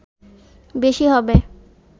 বেশি হবে